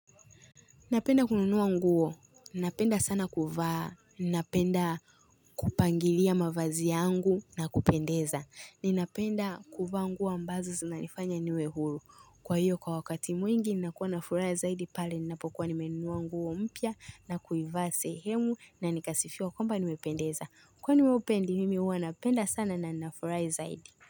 Napenda kununuwa nguo. Napenda sana kuvaa. Napenda kupangilia mavazi yangu na kupendeza. Ninapenda kuvaa nguo ambazo zinganifanya niwe huru. Kwa hiyo kwa wakati mwingi ni nakuwa na fura zaidi pale ninapokuwa ni menunuwa nguo mpya na kuivaa sehemu na nikasifiwa kwamba nimependeza. Kwa wewe upendi mimi huwa napenda sana na na fura zaidi.